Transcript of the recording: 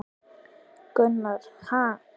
Gunnar: Ha!